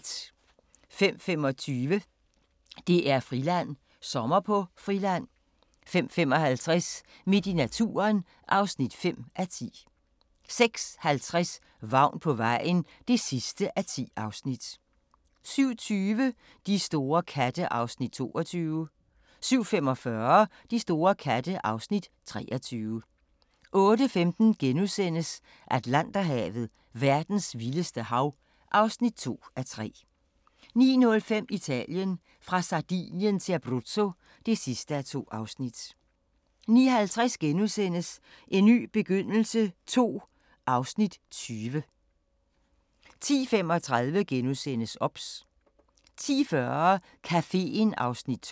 05:25: DR-Friland: Sommer på Friland 05:55: Midt i naturen (5:10) 06:50: Vagn på vejen (10:10) 07:20: De store katte (Afs. 22) 07:45: De store katte (Afs. 23) 08:15: Atlanterhavet: Verdens vildeste hav (2:3)* 09:05: Italien: Fra Sardinien til Abruzzo (2:2) 09:50: En ny begyndelse II (Afs. 20)* 10:35: OBS * 10:40: Caféen (Afs. 12)